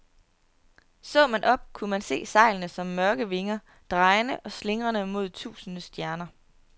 Så man op, kunne man se sejlene som mørke vinger, drejende og slingrende mod tusinde stjerner.